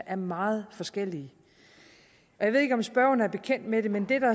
er meget forskellige jeg ved ikke om spørgeren er bekendt med det men det der